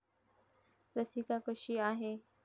रसिका कशी आहे?